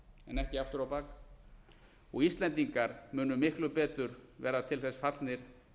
en ekki aftur á bak og íslendingar munu miklu betur vera til þess fallnir